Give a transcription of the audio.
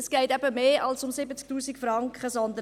Aber es geht eben um mehr als um 70 000 Franken.